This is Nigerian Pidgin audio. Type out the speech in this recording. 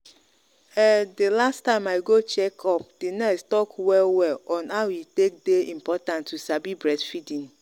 um the last time i go check up the nurse talk well well on how e take day important to sabi breastfeeding.